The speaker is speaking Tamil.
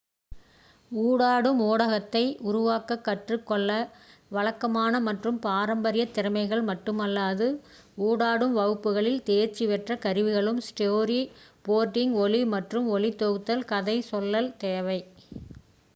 ஊடாடும் ஊடகத்தை உருவாக்கக் கற்றுக் கொள்ள வழக்கமான மற்றும் பாரம்பரிய திறமைகள் மட்டுமல்லாது ஊடாடும் வகுப்புகளில் தேர்ச்சி பெற்ற கருவிகளும் ஸ்டோரி போர்டிங் ஒலி மற்றும் ஒளி தொகுத்தல் கதை சொல்லல் தேவை